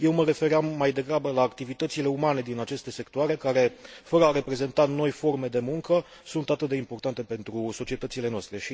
Eu mă refeream mai degrabă la activitățile umane din aceste sectoare care, fără a reprezenta noi forme de muncă, sunt atât de importante pentru societățile noastre.